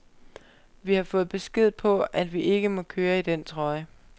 Vi har fået besked på, at vi ikke må køre i den trøje.